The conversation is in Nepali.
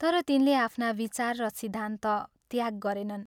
तर तिनले आफ्ना विचार र सिद्धान्त त्याग गरेनन्।